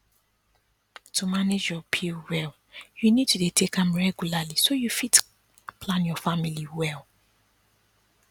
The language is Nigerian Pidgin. to manage your pill well you need to dey take am regularly so you fit plan your family well